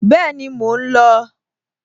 Bẹ́ẹ̀ni, mò ń lò ó